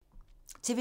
TV 2